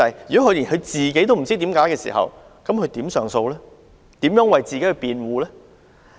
如果連申請人本人都不知道原因，又如何提出上訴和為自己辯護？